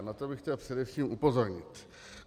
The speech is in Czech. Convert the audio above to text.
A na to bych chtěl především upozornit.